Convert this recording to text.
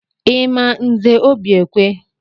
Ị ma Nze Obiekwe?